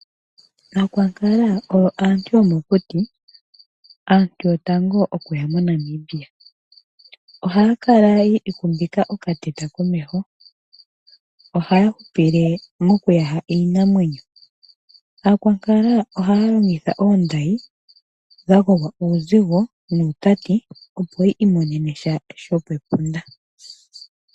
Aakwankala oyo aantu yomokuti , aantu yotango okuya moNamibia. Ohaya kala yi ikumbika okateta komeho, ohaya hupile mokuyaha iinamwenyo. Aankwankala ohaya longitha oondayi dha gogwa uuzigo nuutati opo yi imonene sha shopepunda.